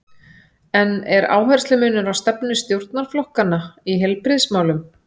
En er áherslumunur á stefnu stjórnarflokkanna í heilbrigðismálum?